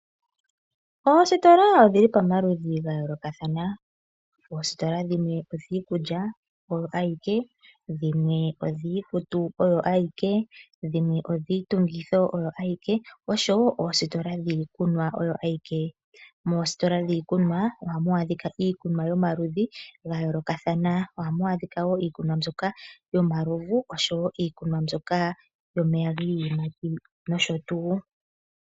Oositola odhili pamaludhi ga yoolokathana. Oositola dhimwe odhiikulya oyo awike, dhimwe odhiikutu oyo awike, dhimwe odhiitungitho oyo awike osho wo oositola dhiikunwa oyo awike. Moositola dhiikunwa ohamu adhika iikunwa yomaludhi ga yoolokathana, ohamu adhika wo iikunwa mbyoka yomalovu osho wo iikunwa mbyoka yomeya giiyimati nosho tu.